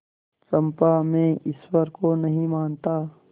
चंपा मैं ईश्वर को नहीं मानता